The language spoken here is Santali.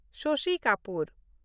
ᱥᱚᱥᱤ ᱠᱟᱯᱩᱨ